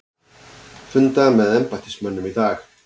Funda með embættismönnum í dag